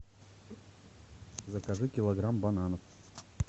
закажи килограмм бананов